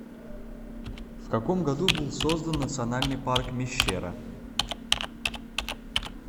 в каком году был создан национальный парк мещера